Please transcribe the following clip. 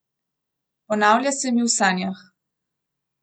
Ponavlja se mi v sanjah.